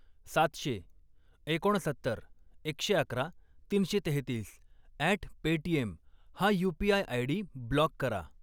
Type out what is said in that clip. सातशे, एकोणसत्तर, एकशे अकरा, तीनशे तेहत्तीस अॅट पेटीएम हा यू.पी.आय. आयडी ब्लॉक करा.